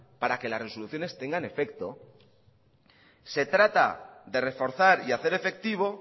para que las resoluciones tengan efecto se trata de reforzar y hacer efectivo